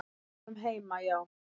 Við vorum heima hjá